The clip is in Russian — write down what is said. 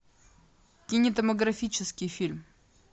кинематографический фильм